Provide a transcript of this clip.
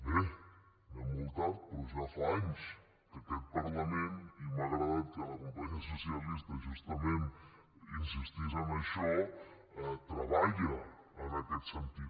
bé anem molt tard però ja fa anys que aquest parlament i m’ha agradat que la companya socialista justament insistís en això treballa en aquest sentit